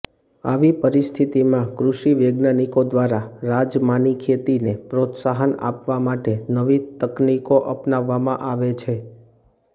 આવી પરિસ્થિતિમાં કૃષિ વૈજ્ઞાનિકો દ્વારા રાજમાની ખેતીને પ્રોત્સાહન આપવા માટે નવી તકનીકો આપવામાં આવે છે